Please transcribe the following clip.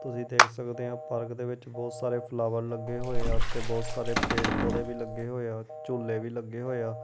ਤੁਸੀ ਦੇਖ ਸਕਦੇ ਆਂ ਪਾਰਕ ਦੇ ਵਿੱਚ ਬਹੁਤ ਸਾਰੇ ਫਲਾਵਰ ਲੱਗੇ ਹੋਏ ਆ ਤੇ ਬਹੁਤ ਸਾਰੇ ਪੇੜ ਪੌਧੇ ਵੀ ਲੱਗੇ ਹੋਏ ਆ ਝੂਲੇ ਵੀ ਲੱਗੇ ਹੋਏ ਆ।